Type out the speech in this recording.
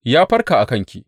Ya farka a kanki.